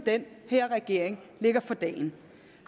den her regering lægger for dagen